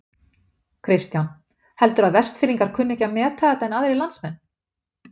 Kristján: Heldurðu að Vestfirðingar kunni ekki að meta þetta en aðrir landsmenn?